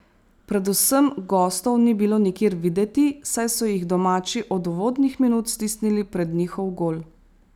Predvsem gostov ni bilo nikjer videti, saj so jih domači od uvodnih minut stisnili pred njihov gol.